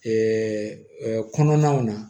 kɔnɔnaw na